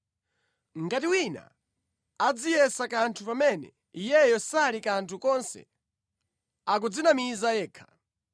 Ngati wina adziyesa kanthu pamene iyeyo sali kanthu konse, akudzinamiza yekha.